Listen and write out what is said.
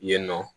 Yen nɔ